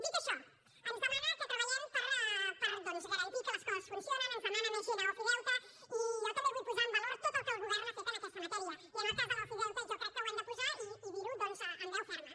dit això ens demana que treballem doncs per garantir que les coses funcionin ens demana més gent a ofideute i jo també vull valorar tot el que el govern ha fet en aquesta matèria i en el cas de l’ofideute jo crec que ho hem de posar i dir ho doncs amb veu ferma